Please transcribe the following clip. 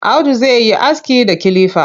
Audu zai yi aski da kilifa.